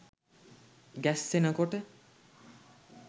ගැස්සෙන කොට